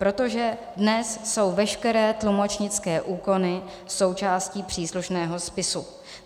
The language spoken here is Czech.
Protože dnes jsou veškeré tlumočnické úkony součástí příslušného spisu.